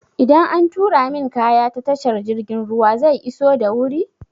Idan an turo min kaya ta tashar jirgin ruwa zai iso da wuri?